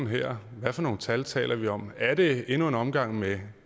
her hvad for nogle tal taler vi om er det endnu en omgang med